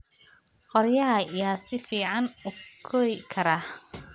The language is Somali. Qoryaha ayaa si fiican u kori kara.